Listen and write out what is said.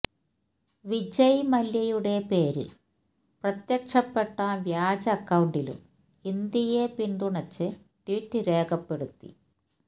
വിജയ് മല്യയുടെ പേരില് പ്രത്യക്ഷപ്പെട്ട വ്യാജ അക്കൌണ്ടിലും ഇന്ത്യയെ പിന്തുണച്ച് ട്വിറ്റ് രേഖപ്പെടുത്തി